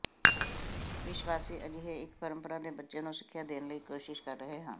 ਵਿਸ਼ਵਾਸੀ ਅਜਿਹੇ ਇੱਕ ਪਰੰਪਰਾ ਦੇ ਬੱਚੇ ਨੂੰ ਸਿੱਖਿਆ ਦੇਣ ਲਈ ਕੋਸ਼ਿਸ਼ ਕਰ ਰਹੇ ਹਨ